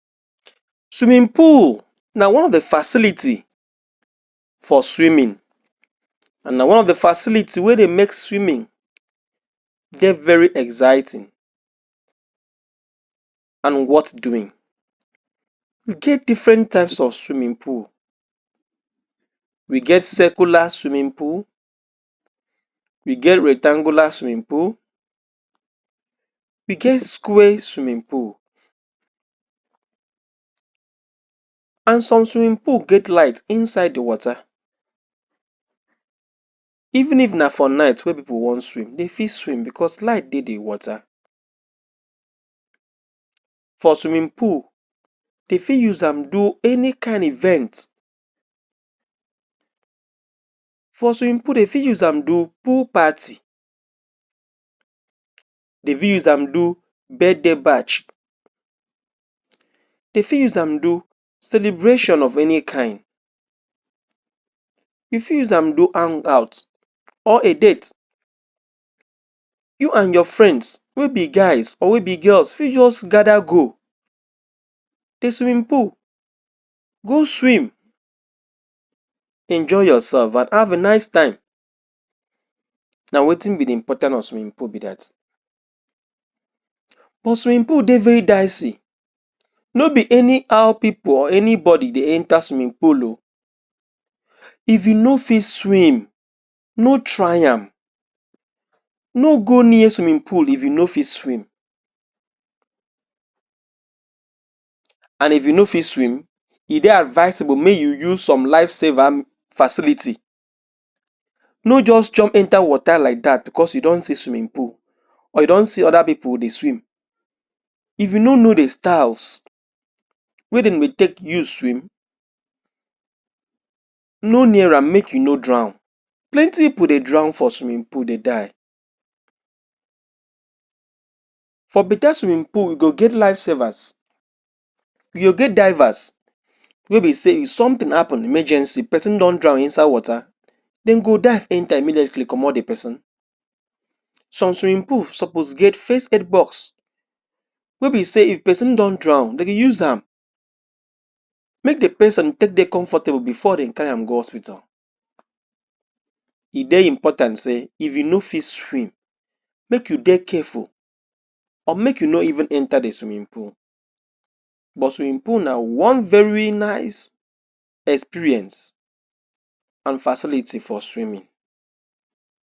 Swimming pool na one of di facility for swimming and na one of di facility wey dey make swimming dey very exciting and worth doing. E get different type of swimming pool we get cicular swimming pool we get rectangular swimming pool we get square swimming pool and some swimming pool get light inside di water even if na for night wey pipo wan swim dem fit swim bicos light dey di water For swimming pool dem fit use am do any kind event for swimming pool dem fit use am do pool party dem fit use am do birthday batch Dem fit use am do celebration of any kind Dem fit use am do hangout or a date you and your friends wey be guys or wey be girls fit just gada go di swimming pool go swim enjoy yoursef and have a nice time na wetin be di important of swimming pool be dat. But swimming pool dey very daisy nobi anyhow pipo or anybody dey enta swimming pool oo if you fit swim no try am no go near swimming pool if you fit swim and if you no fit swim e dey advisable make you use some life saver facility no just jump enta water like dat bicos you see swimming pool or youndon see oda pipo dey swim if you no know di styles wey dem go take use swim no near am make you no drawn. Plenty pipo dey drawn for swimming pool dey die for betta swimming dem go get life savers you go get divers wey be say if sometin happun emergency pesin don drawn inside water dem go dive enta immediately comot di pesin Some swimming pool supposed get first aid box wey be say if pesin don drawn dem dey use am make di pesin take dey comfortable bifor dem carry am go hospital E dey important say if you no fit swim make you dey careful or make you no even enta di swimming pool But swimming pool na one very nice experience and facility for swimming.